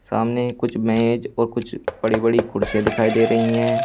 सामने कुछ मेज और कुछ बड़ी बड़ी कुर्सियां दिखाई दे रही है।